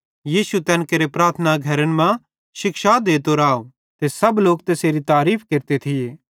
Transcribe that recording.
यीशु तैन केरे प्रार्थना घरन मां शिक्षा देतो राव ते सब लोक तैसेरी तारीफ़ केरते थिये